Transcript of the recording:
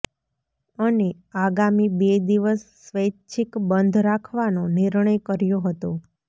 અને આગામી બે દિવસ સ્વૈચ્છીક બંધ રાખવાનો નિર્ણય કર્યો હતો